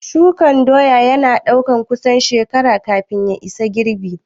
Shukan doya ya na ɗaukan kusan shekara kafin ya isa girbi